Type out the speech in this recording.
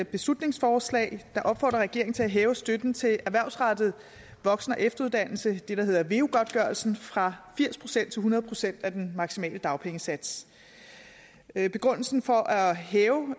beslutningsforslag der opfordrer regeringen til at hæve støtten til erhvervsrettet voksen og efteruddannelse det der hedder veu godtgørelsen fra firs procent til hundrede procent af den maksimale dagpengesats begrundelsen for at hæve